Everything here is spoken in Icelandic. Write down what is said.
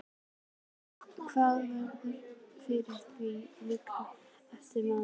Hvernig sérðu fyrir þér lífræna ræktun í framtíðinni?